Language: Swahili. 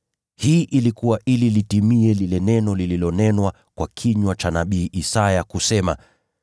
Hii ilikuwa ili litimie lile neno lililonenwa kwa kinywa cha nabii Isaya kusema: